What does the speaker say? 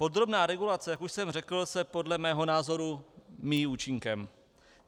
Podrobná regulace, jak už jsem řekl, se podle mého názoru, míjí účinkem.